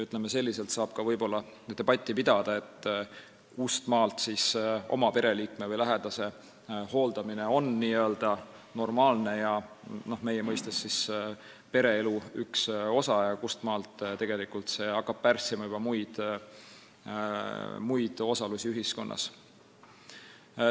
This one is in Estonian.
Võib-olla saab debatti pidada, kuhumaani on oma pereliikme või lähedase hooldamine normaalne, meie mõistes pereelu üks osa ja kustmaalt hakkab see pärssima juba muud osalust ühiskonnas.